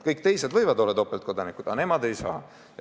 Kõik teised võivad olla topeltkodanikud, aga nemad ei saa.